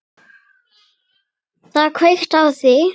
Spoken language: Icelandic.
Það er kveikt á því.